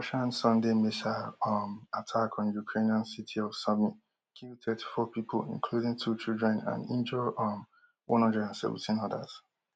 russian sunday missile um attack on ukrainian city of sumy kill thirty-four pipo including two children and injure um one hundred and seventeen odas